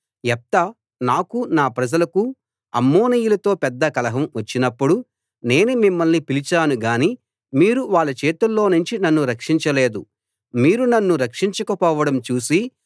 యెఫ్తా నాకు నా ప్రజలకు అమ్మోనీయులతో పెద్ద కలహం వచ్చినప్పుడు నేను మిమ్మల్ని పిలిచాను గాని మీరు వాళ్ళ చేతుల్లోనుంచి నన్ను రక్షించలేదు మీరు నన్ను రక్షించకపోవడం చూసి